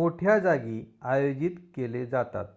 मोठ्या जागी आयोजित केले जातात